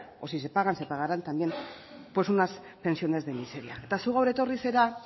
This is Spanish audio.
o si se pagan se pagarán también pues unas pensiones de miseria eta zu gaur etorri zara